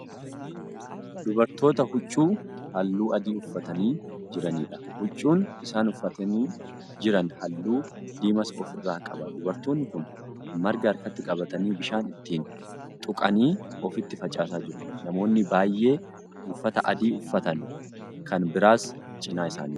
Dubartoota huccuu halluu adii uffatanii jiraniidha. huccuun isaan uffatanii Jiran halluu diimaas ofirraa qaba. dubartoonni Kuni marga harkatti qabatanii bishaan ittiin tuqanii ofitti facaasaa jiru. namoonni baay'ee uffata adii uffatan Kan biraas cinaa isaanii jiru.